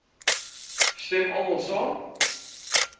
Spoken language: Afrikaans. stem almal saam